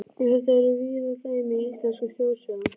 Um þetta eru víða dæmi í íslenskum þjóðsögum.